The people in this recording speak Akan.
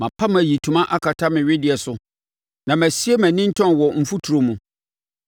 “Mapam ayitoma akata me wedeɛ so na masie mʼanintɔn wɔ mfuturo mu.